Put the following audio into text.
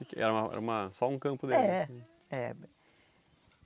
Era uma era uma só um campo deles. É, é.